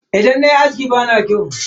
Idan nayi aski bana kyau.